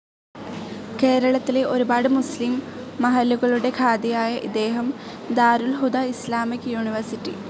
കേരളത്തിലെ ഒരുപാട് മുസ്ലിം മഹല്ലുകളുടെ ഖാദിയായ ഇദ്ദേഹം ദാരുൽ ഹുദ ഇസ്സാമിക് യൂണിവേഴ്സിറ്റി.